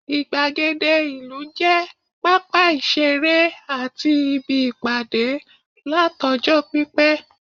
igbagede ìlú je papa isere ati ibi Ipade lat ọjọ pipẹ